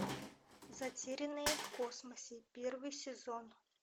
затерянные в космосе первый сезон